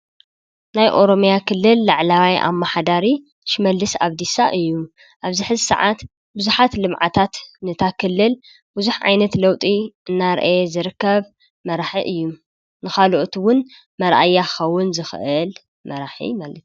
ናይ ኦሮምያ ክልል ላዕለዋይ ኣማሓዳሪ ሽመልሽ ኣብዲሳ እዩ፤ ኣብዚ ሕዚ ሰዓት ቡዙሓት ልምዓታት ነታ ክልል ቡዙሕ ዓይነት ለዉጢ እናርኣየ ዝርከብ መራሒ እዩ፤ ንኻልኦት ዉን መርኣያ ክኸዉን ዝኽእል መራሒ ማለት እዩ።